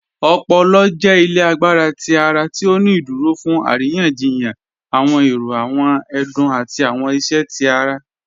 Ọpọ̀lọ̀ jẹ́ ilẹ̀ àgbàrá tí ara ti ó ní ìdúró fún arìyàn-jìyàn awọn èrò, awọn ẹdún, àti awọn ìṣẹ́ tí ara